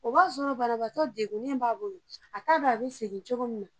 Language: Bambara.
O b'a sɔrɔ banabagatɔ degunnen b'a bolo, a t'a dɔn a bɛ segin cogo min na.